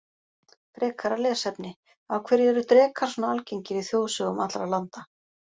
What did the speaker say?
Frekara lesefni Af hverju eru drekar svona algengir í þjóðsögum allra landa?